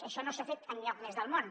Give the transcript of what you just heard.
això no s’ha fet enlloc més del món